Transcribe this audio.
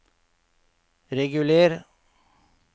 reguler